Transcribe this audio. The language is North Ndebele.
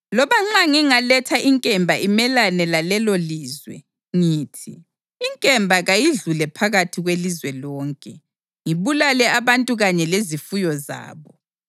Loba nxa ngingaletha inkemba imelane lalelolizwe ngithi, ‘Inkemba kayidlule phakathi kwelizwe lonke,’ ngibulale abantu kanye lezifuyo zabo,